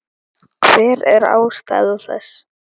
Hver er ástæða þess?